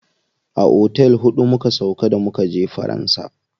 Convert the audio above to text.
A otel huɗu muka sauƙa da mukaje faransa.